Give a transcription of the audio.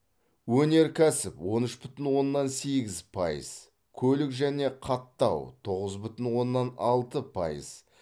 өнеркәсіп он үш бүтін оннан сегіз пайыз көлік және қаттау тоғыз бүтін оннан алты пайыз